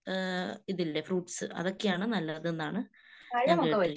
ഏഹ് ഇതില്ലേ ഫ്രൂട്ട്സ്. അതൊക്കെയാണ് നല്ലതെന്നാണ് ഞാൻ കേട്ടിരിക്കുന്നെ